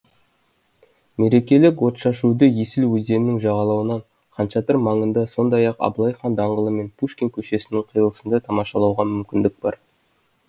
мерекелік отшашуды есіл өзенінің жағалауынан хан шатыр маңында сондай ақ абылай хан даңғылы мен пушкин көшесінің қиылысында тамашалауға мүмкіндік бар